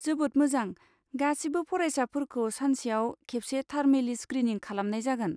जोबोद मोजां! गासिबो फरायसाफोरखौ सानसेयाव खेबसे थार्मेलि स्क्रिनिं खालामनाय जागोन।